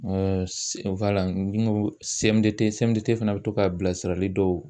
s wala n go sɛmudete smudete fana be to ka bilasirali dɔw